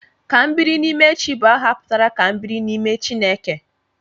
Kambirinimechi bụ aha pụtara 'Ka m biri n'ime Chineke'